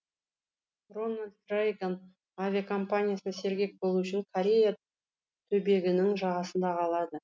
рональд рейган авиакомпаниясы сергек болу үшін корея түбегінің жағасында қалады